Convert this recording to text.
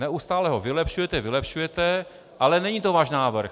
Neustále ho vylepšujete, vylepšujete, ale není to váš návrh.